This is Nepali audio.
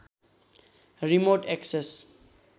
remote access